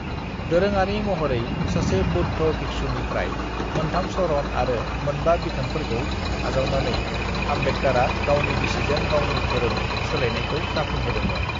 "दोरोङारि महरै सासे बौद्ध भिक्षुनिफ्राय मोन्थाम शरण आरो मोनबा बिथोनफोरखौ आजावनानै आम्बेडकारा गावनि बिसिजों गावनि धोरोम सोलायनायखौ जाफुंहोदोंमोन।"